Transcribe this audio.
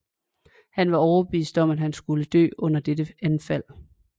Han var overbevist om at han skulle dø under dette anfald